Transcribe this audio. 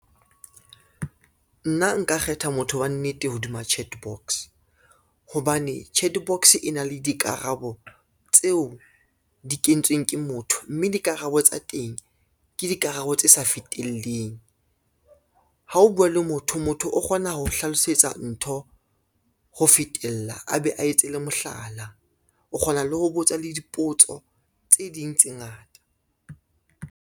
Nna nka kgetha motho wa nnete hodima chat box, hobane chat box e na le dikarabo tseo di kentsweng ke motho, mme dikarabo tsa teng ke dikarabo tse sa fitileng. Ha o bua le motho, motho o kgona ho hlalosetsa ntho ho fetella a be a etse le mohlala, o kgona le ho botsa le dipotso tse ding tse ngata.